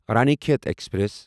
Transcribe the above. رانی کھیت ایکسپریس